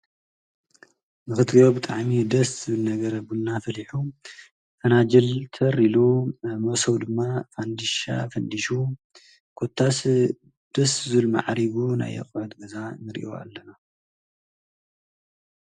ብኽትኦ ብጥዓሚ ደስ ነገር ኣቡና ፈሊሑ ፈናጀልተር ኢሉ መሶው ድማ ፋንዲሻ ፈንዲሹ ኰታስ ደስ ዙል መዓሪቡ ናይቝወት ገዛ ንሪእዮ ኣለና።